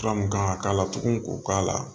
Fura mun kan ka k'a la tugun k'o k'a la